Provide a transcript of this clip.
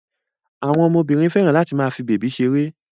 àwọn ọmọ Obìnrin féràn láti fí bebi ṣeré.